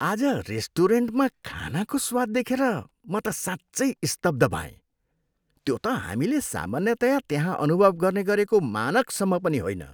आज रेस्टुरेन्टमा खानाको स्वाद देखेर म त साँच्चै स्तब्ध भएँ। त्यो त हामीले सामान्यतया त्यहाँ अनुभव गर्ने गरेको मानकसम्म पनि होइन।